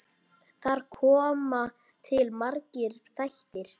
Þar koma til margir þættir.